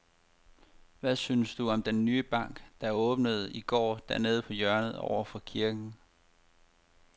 Hvad synes du om den nye bank, der åbnede i går dernede på hjørnet over for kirken?